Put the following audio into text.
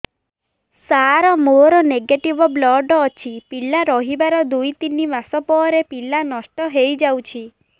ସାର ମୋର negative blood ଅଛି ପିଲା ରହିବାର ଦୁଇ ତିନି ମାସ ପରେ ପିଲା ନଷ୍ଟ ହେଇ ଯାଉଛି